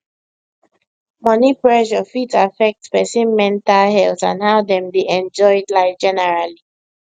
money pressure fit affect person mental health and how dem dey enjoy life generally